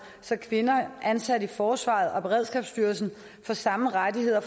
så kvinder ansat i forsvaret og beredskabsstyrelsen får samme rettigheder